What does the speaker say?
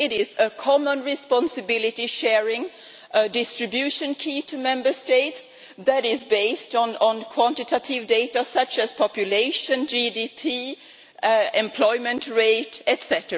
It is a common responsibility sharing, a distribution key to Member States that is based on quantitative data such as population, GDP, employment rate, etc.